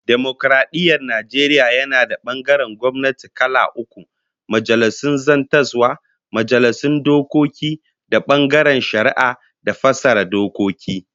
Dimokaradiyyar Najeriya yana da bangarorin gwamnati kala uku, Majalisun Zartaswa, Majalisun Dokoki da bangaren Shari'a da fassara dokoki